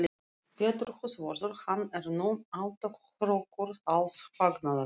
Pétur húsvörður, hann er nú alltaf hrókur alls fagnaðar!